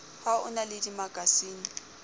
ha o na le dimakasine